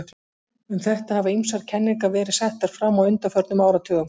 Um þetta hafa ýmsar kenningar verið settar fram á undanförnum áratugum.